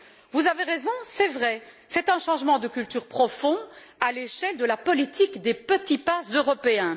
Vous avez raison, c'est vrai, c'est un changement de culture profond, à l'échelle de la politique des petits pas européens.